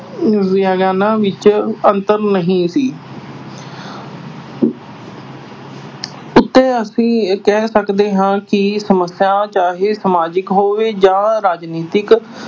ਵਿਗਿਆਨਾਂ ਵਿੱਚ ਅੰਤਰ ਨਹੀਂ ਸੀ। ਇੱਥੇ ਅਸੀਂ ਇਹ ਕਹਿ ਸਕਦੇ ਹਾਂ ਕਿ ਸਮੱਸਿਆ ਚਾਹੇ ਸਮਾਜਿਕ ਹੋਵੇ ਜਾਂ ਰਾਜਨੀਤਿਕ